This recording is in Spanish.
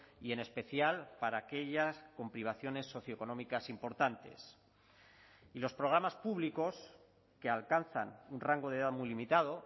y en especial para aquellas con privaciones socioeconómicas importantes y los programas públicos que alcanzan un rango de edad muy limitado